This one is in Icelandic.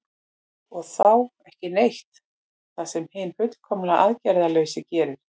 og þá „ekki neitt“ það sem hinn fullkomlega aðgerðalausi gerir